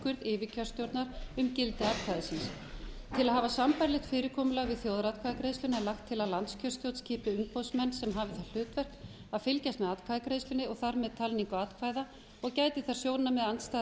yfirkjörstjórnar um gildi atkvæðisins til að hafa sambærilegt fyrirkomulag við þjóðaratkvæðagreiðsluna er lagt til að landskjörstjórn skipi umboðsmenn sem hafa það hlutverk að fylgjast með atkvæðagreiðslunni og þar með talningu atkvæða og gæti þar sjónarmiða andstæðra